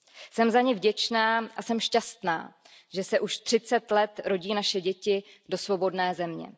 Jsem za ni vděčná a jsem šťastná, že se už třicet let rodí naše děti do svobodné země.